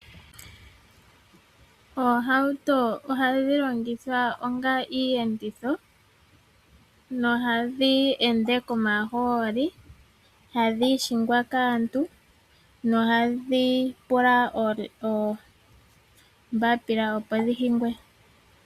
Oohauto ohadhi longithwa onga iiyenditho . Ohadhi ende komahooli nohadhi hingwa kaantu, ohadhi pula oombapila opo dhihingwe.